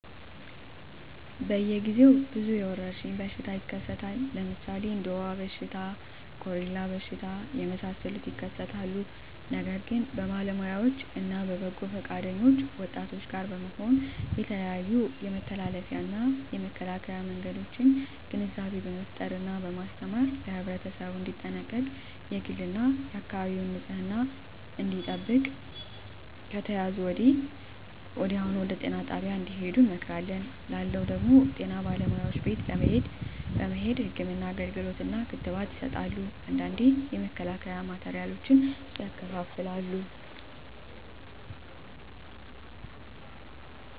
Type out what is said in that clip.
በየ ግዜው ብዙ የወረሽኝ በሽታ ይከሰታል ለምሣሌ እንደ ወባ በሽታ ኮሪላ በሽታ የመሣሠሉት ይከሠታሉ ነገር ግን በባለውያዎች እነ በበጎ ፈቃደኞች ወጣቶች ጋር በመሆን የተለያዮ የመተላለፊያ እና የመከላኪያ መንገዶችን ግንዛቤ በመፍጠር እና በማስተማር ለህብረተሠቡ እንዲጠነቀቅ የግል እና የአካባቢውን ንፅህና እንዲጠብቅ ከተያዙ ደግሞ ወዲያሁኑ ወደጤና ጣቢያ እንድሄዱ እንመክራለን ላለው ደግም ጤና ባለሙያዎች ቤት ለቤት በመሄድ ህክምና አገልግሎት እና ክትባት ይሠጣሉ አንዳንዴ የመከላከያ ማቴሪያሎችን ያከፋፍላሉ